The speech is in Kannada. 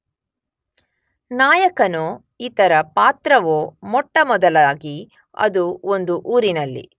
ನಾಯಕನೊ ಇತರ ಪಾತ್ರವೊ ಮೊಟ್ಟಮೊದಲಾಗಿ ಅದು ಒಂದು ಊರಿನಲ್ಲಿ